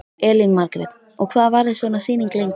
Elín Margrét: Og hvað varir svona sýning lengi?